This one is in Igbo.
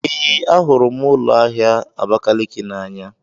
Ee, ahụrụ m ụlọ ahịa Abakaliki n'anya.